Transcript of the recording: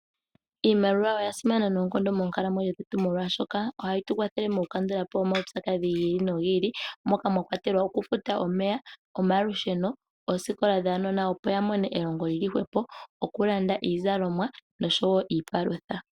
Iimaliwa ya simana monkalamwenyo dhetu odhoka ohqyi tukwathele okukandulapo omaupyakadhi gili nogi ili mola mwakwatelwa okufuta omeya, omalusheno, oosikola dhaanona, opo ya mone elongo kyili hwepo, iizalomwa oshowo iipalutha.